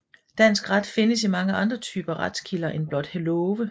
Dansk ret findes i mange andre typer retskilder end blot love